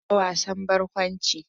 Gyara wasan barkwanci.